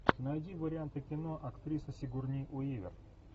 найди варианты кино актриса сигурни уивер